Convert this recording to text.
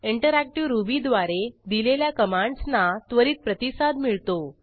interactive रुबीद्वारे दिलेल्या कमांडसना त्वरित प्रतिसाद मिळतो